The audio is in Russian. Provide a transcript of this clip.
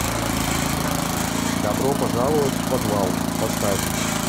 добро пожаловать в подвал поставь